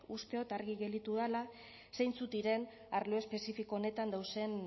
uste dut argi gelditu dela zeintzuk diren arlo espezifiko honetan dauzen